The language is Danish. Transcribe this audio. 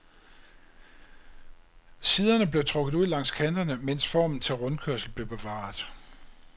Siderne blev trukket ud langs kanterne, mens formen til rundkørsel blev bevaret.